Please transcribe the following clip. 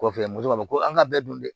Kɔfɛ moto b'a fɔ ko an ka bɛɛ dun dɛ